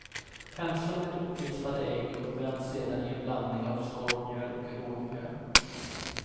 Pensla med uppvispat ägg och vänd sedan i en blandning av skorpmjöl och rågmjöl.